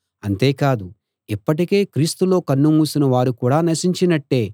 అంతేకాదు ఇప్పటికే క్రీస్తులో కన్నుమూసిన వారు కూడా నశించినట్టే